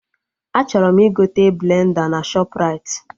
Achọrọ m igote blenda na Shọpraịti